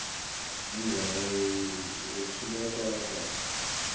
indzaba ayetfulekanga kahle